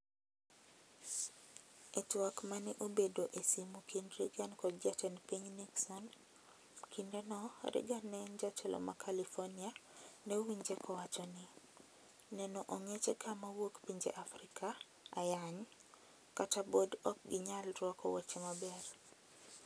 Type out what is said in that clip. E twak mane obedo e simu kind Reagan kod jatend piny Nixon, kinde no Reagan ne en jatelo ma California ne owinje kanowacho ni "neno ong'echeka mowuok pinje Afrika (ayany) kata bod ok ginyal ruako wuoche maber